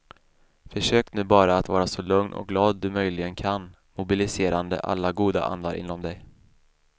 Försök nu bara att vara så lugn och glad du möjligen kan, mobiliserande alla goda andar inom dig.